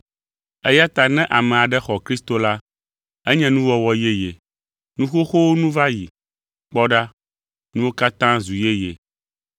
Eya ta ne ame aɖe xɔ Kristo la, enye nuwɔwɔ yeye; nu xoxowo nu va yi, “kpɔ ɖa!” nuwo katã zu yeye.